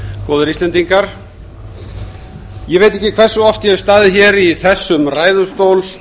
góðir íslendingar ég veit ekki hversu oft ég hef staðið hér í þessum ræðustól